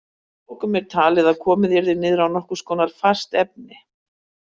Að lokum er talið að komið yrði niður á nokkurs konar fast efni.